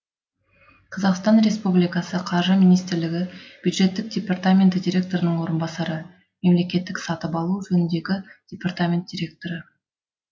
қазақстан республикасы қаржы министрлігі бюджеттік департаменті директорының орынбасары мемлекеттік сатып алу жөніндегі департамент директоры